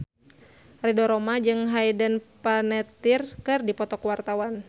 Ridho Roma jeung Hayden Panettiere keur dipoto ku wartawan